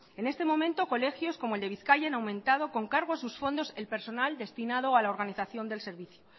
en estos momentos colegios como el de bizkaia han aumentado con cargo a sus fondos el personal destinado a la organización del servicio